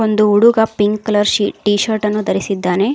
ಒಂದು ಹುಡುಗ pink colour ಶಿ ಟಿ ಶರ್ಟ್ ನ್ನು ಧರಿಸಿದ್ದಾನೆ.